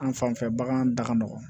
An fan fɛ bagan da ka nɔgɔn